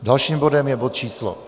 Dalším bodem je bod číslo